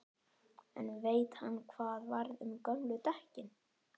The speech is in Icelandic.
En veit hann hvað varð um gömlu dekkin?